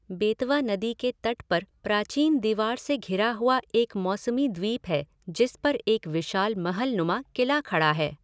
बेतवा नदी के तट पर प्राचीन दीवार से घिरा हुआ एक मौसमी द्वीप है जिस पर एक विशाल महलनुमा किला खड़ा है।